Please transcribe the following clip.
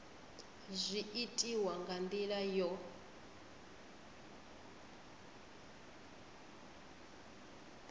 zwi itiwa nga ndila yo